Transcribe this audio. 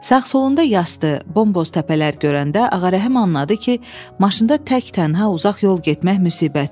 Sağ-solunda yaşıl, bomboz təpələr görəndə Ağarəhəm anladı ki, maşında tək-tənha uzaq yol getmək müsibətdir.